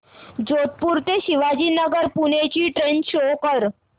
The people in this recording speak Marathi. जोधपुर ते शिवाजीनगर पुणे ची ट्रेन शो कर